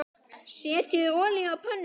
Setjið olíu á pönnu.